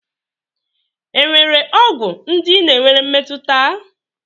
Enwere ọgwụ ndị ị na-enwere mmetụta?